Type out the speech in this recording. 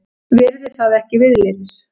Virði það ekki viðlits.